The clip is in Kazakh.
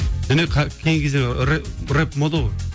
кейінгі кезде рэп мода ғой